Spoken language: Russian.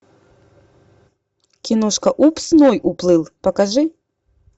киношка упс ной уплыл покажи